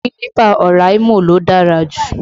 Kílípà Oraimo ló dára jù